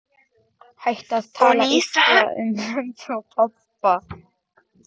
Hættu að tala illa um mömmu og pabba!